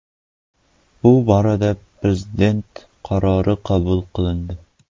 Bu borada prezident qarori qabul qilindi.